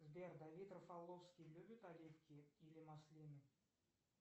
сбер давид рафаловский любит оливки или маслины